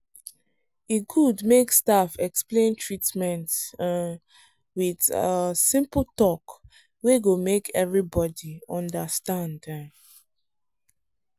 e good make staff explain treatment um with um simple talk wey go make everybody understand. um